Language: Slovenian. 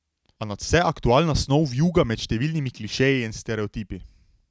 A nadvse aktualna snov vijuga med številnimi klišeji in stereotipi.